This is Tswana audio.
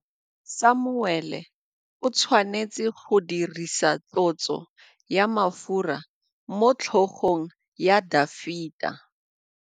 Samuele o tshwanetse go dirisa tlotsô ya mafura motlhôgong ya Dafita.